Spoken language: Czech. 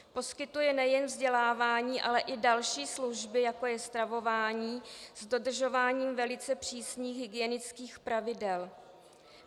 Poskytuje nejen vzdělávání, ale i další služby, jako je stravování s dodržováním velice přísných hygienických pravidel.